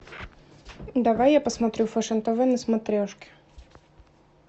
давай я посмотрю фэшн тв на смотрешке